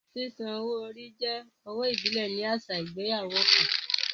Sísan owó orí jẹ́ owó ìbílẹ̀ ní àṣà ìgbéyàwó kan